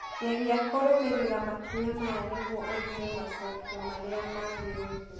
geria kũrũmĩrĩra makinya maya nĩguo ũthuure macokio marĩa magĩrĩire